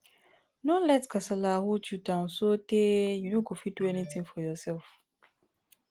no let kasala hold you down sotey you no go fit do anything for yourself